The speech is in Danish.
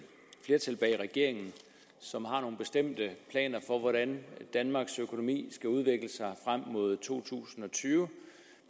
flertal bag regeringen som har nogle bestemte planer for hvordan danmarks økonomi skal udvikle sig frem mod to tusind og tyve